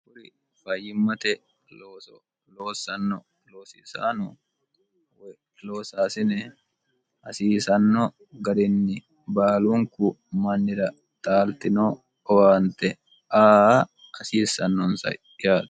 kuri fayyimmate loosso loosanno loosisaano woy loosaasine hasiisanno garinni baalunku mannira talitino owaante a hasiissannonsa yao